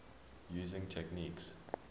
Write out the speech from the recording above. using techniques